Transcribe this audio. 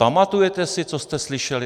Pamatujete si, co jste slyšeli?